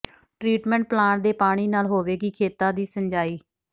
treatment plant ਦੇ ਪਾਣੀ ਨਾਲ ਹੋਵੇਗੀ ਖੇਤਾਂ ਦੀ ਸਿੰਚਾਈ